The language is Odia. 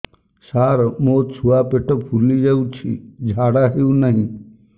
ସାର ମୋ ଛୁଆ ପେଟ ଫୁଲି ଯାଉଛି ଝାଡ଼ା ହେଉନାହିଁ